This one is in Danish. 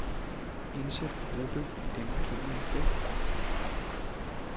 Indsæt gruppe i det markerede felt.